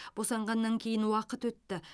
босанғаннан кейін уақыт өтті